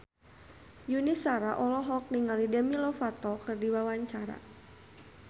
Yuni Shara olohok ningali Demi Lovato keur diwawancara